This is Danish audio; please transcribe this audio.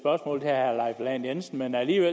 er